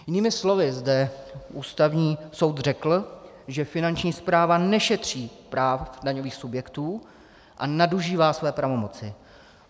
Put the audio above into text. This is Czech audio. Jinými slovy zde Ústavního soud řekl, že Finanční správa nešetří práv daňových subjektů a nadužívá své pravomoci.